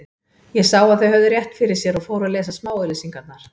Ég sá að þau höfðu rétt fyrir sér og fór að lesa smáauglýsingarnar.